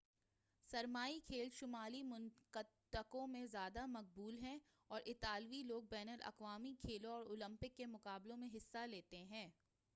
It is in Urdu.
سرمائی کھیل شمالی منطقوں میں زیادہ مقبول ہیں اور اطالوی لوگ بین الاقوامی کھیلوں اور اولمپک کے مقابلوں میں حصہ لیتے ہیں